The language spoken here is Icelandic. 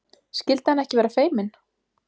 Skyldi hann ekki vera feiminn?